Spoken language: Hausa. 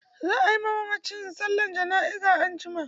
Za a yi ma mamacin sallar jana'iza anjima.